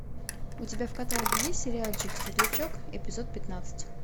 у тебя в каталоге есть сериальчик светлячок эпизод пятнадцать